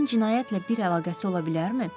Bunun cinayətlə bir əlaqəsi ola bilərmi?